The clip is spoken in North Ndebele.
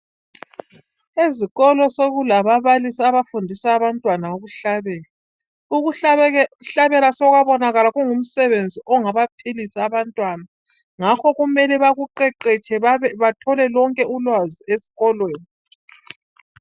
ezikolo sokulababalisi abafundisa abantwana ukuhlabela ukuhlabela sokwabonakala kungumsebenzi ongabaphilisa abantwna njalo kumele bawuqheqetshe bathole lonke ulwazi esikolo